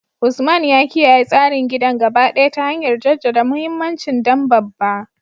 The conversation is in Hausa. Usman ya kiyaye tsarin gidan gaba ɗaya ta hanyar jaddada muhimmancin dan babba.